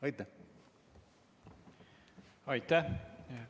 Aitäh!